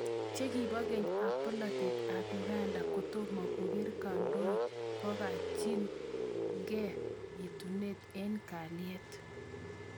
Chekibo keny ab polatet ab Uganda kotomo kokere kandoik kokachin ke itunatet eng kalyet.